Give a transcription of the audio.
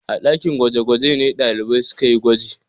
A ɗakin gwaje-gwaje ne ɗalibai suka yi gwaji.